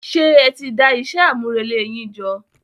Ṣé ẹti dá iṣẹ́ àmúrelé yín jọ?